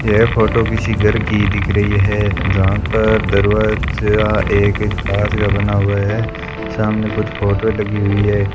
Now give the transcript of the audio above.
यह फोटो किसी घर की दिख रही है जहां पर दरवाजा एक हाथ का बना हुआ है सामने कुछ फोटो लगी हुई है।